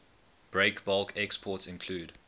breakbulk exports include